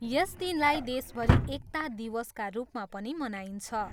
यस दिनलाई देशभरि एकता दिवसका रूपमा पनि मनाइन्छ।